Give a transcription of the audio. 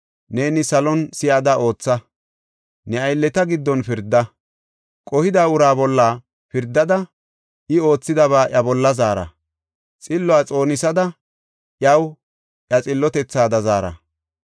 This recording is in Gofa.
neeni salon si7ada ootha. Ne aylleta giddon pirda. Qohida uraa bolla pirdada, I oothidaba iya bolla zaara; xilluwa xoonisada iyaw iya xillotethaada zaara.